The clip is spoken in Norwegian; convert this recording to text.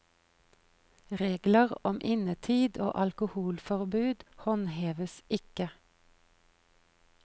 Regler om innetid og alkoholforbud håndheves ikke.